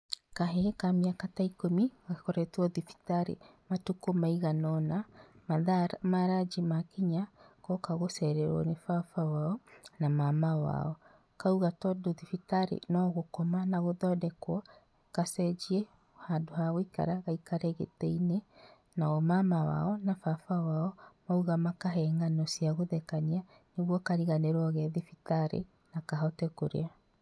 Kahĩĩ ka mĩaka ta ikũmi gakoretwo thibitarĩ matukũ maigana ona, na mathaa ma ranji makinya goka gũcererwo nĩ baba wao na mama wao. Kauga tondũ thibitarĩ no gũkoma na gũthondekwo, gacenjie handũ ha gũikara, gaikare gĩtĩ-inĩ nao mama wao na baba wao mauga ma kahe ng'ano cia gũthekania nĩguo kariganĩrwo ge thibitarĩ na kahote kũrĩa.